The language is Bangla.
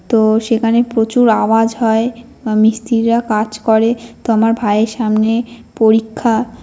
তো-ও সেখানে প্রচুর আওয়াজ হয় বা মিস্ত্রিরা কাজ করে । তো আমার ভাইয়ের সামনে পরীক্ষা।